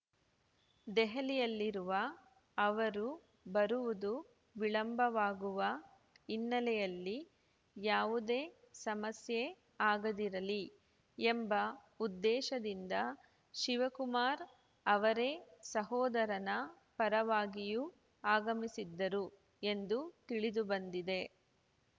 ದೆಹಲಿಯಲ್ಲಿರುವ ಅವರು ಬರುವುದು ವಿಳಂಬವಾಗುವ ಹಿನ್ನೆಲೆಯಲ್ಲಿ ಯಾವುದೇ ಸಮಸ್ಯೆ ಆಗದಿರಲಿ ಎಂಬ ಉದ್ದೇಶದಿಂದ ಶಿವಕುಮಾರ್‌ ಅವರೇ ಸಹೋದರನ ಪರವಾಗಿಯೂ ಆಗಮಿಸಿದ್ದರು ಎಂದು ತಿಳಿದುಬಂದಿದೆ